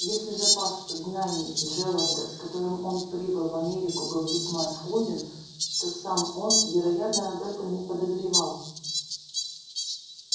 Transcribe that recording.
если запас знаний джералда с которым он прибыл в америку был весьма скуден то сам он вероятно об этом не подозревал